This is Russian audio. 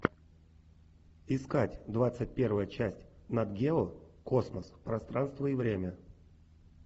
искать двадцать первая часть нат гео космос пространство и время